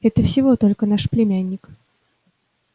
это всего только наш племянник